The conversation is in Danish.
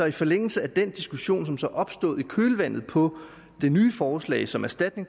i forlængelse af den diskussion som som opstod i kølvandet på det nye forslag som erstatning